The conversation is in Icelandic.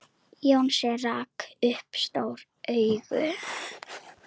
Jónsi rak upp stór augu.